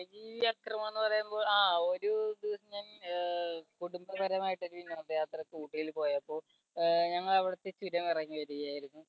എന്ന് പറയുമ്പോൾ ആ ഒരു ദിവസം ആഹ് കുടുംബപരമായിട്ട് വിനോദയാത്രയ്ക്ക് ഊട്ടിയിൽ പോയപ്പോൾ ആഹ് ഞങ്ങൾ അവിടുത്തെ ചുരം ഇറങ്ങി വരികയായിരുന്നു.